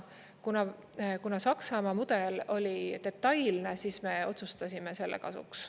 Kuna Saksamaa mudel oli detailne, siis me otsustasime selle kasuks.